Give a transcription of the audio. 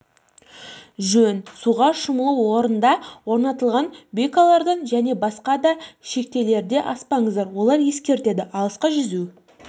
жөн суға шомылу орындарында орнатылған буйкалардан және басқа да шектелерде аспаңыздар олар ескертеді алысқа жүзу